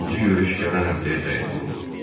İkinci görüş gələn həftəyə təyin olundu.